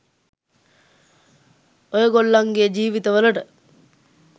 ඔයගොල්ලන්ගේ ජිවිත වලට